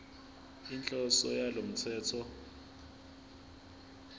inhloso yalo mthetho